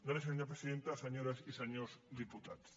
gràcies senyora presidenta senyores i senyors diputats